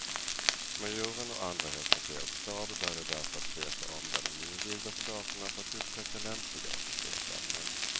Majoren och andra i högkvarterets stab började därför att se sig om bland de nyinvigda soldaterna för att upptäcka lämpliga officersämnen.